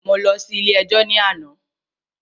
Mo lọ sí ilé ẹjọ́ ní àná.